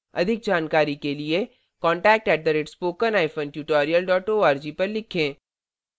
अधिक जानकारी के लिए contact @spokentutorial org पर लिखें